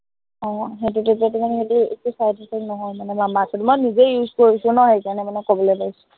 আহ সেইটো তেতিয়া তোৰ মানে একো side effect নহয় মানে, মামা আৰ্থত, মই নিজে use কৰিছো ন, সেই কাৰনে মানে কবলে পাৰিছো